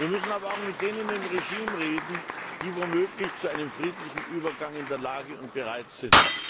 Wir müssen aber auch mit denen im Regime reden, die womöglich zu einem friedlichen Übergang in der Lage und bereit sind.